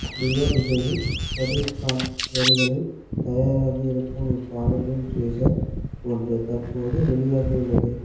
deo இசையில் சதீஸ்காந் வரிகளில் தயாராகியிருக்கும் இப்பாடலின் டீஸர் ஒன்று தற்போது வெளியாகியுள்ளது